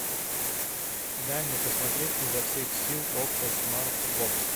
дай мне посмотреть изо всех сил окко смартбокс